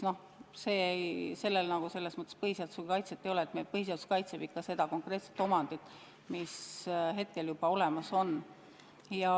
Sellel nagu põhiseaduslikku kaitset ei ole, sest põhiseadus kaitseb konkreetset omandit, mis juba olemas on.